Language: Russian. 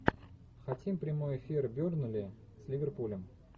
хотим прямой эфир бернли с ливерпулем